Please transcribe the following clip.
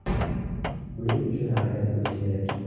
Buning uchun harakat qilish kerak.